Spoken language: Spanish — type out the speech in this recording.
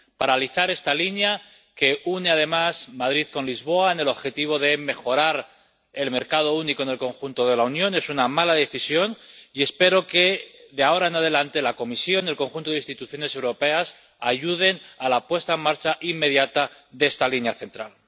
Paralizar esta línea que une además Madrid con Lisboa con vistas al objetivo de mejorar el mercado único en el conjunto de la Unión es una mala decisión y espero que de ahora en adelante la Comisión y el conjunto de instituciones europeas ayuden a la puesta en marcha inmediata de esta línea central.